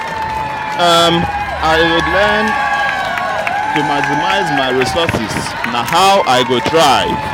i dey learn to maximize my resources; na how i go thrive.